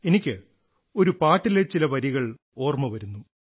എനിക്ക് ഒരുപാട്ടിലെ ചില വരികൾ ഓർമ്മ വരുന്നു